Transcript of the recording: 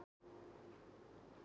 Bessastöðum í kvöld!